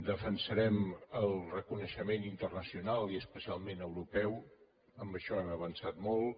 defensarem el reconeixement internacional i especialment europeu en això hem avançat molt